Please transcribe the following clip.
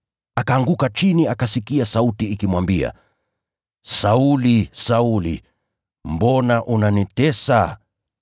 Akaanguka chini, akasikia sauti ikimwambia, “Sauli, Sauli, mbona unanitesa?”